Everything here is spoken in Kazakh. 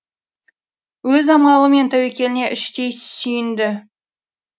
өз амалы мен тәуекеліне іштей сүйінді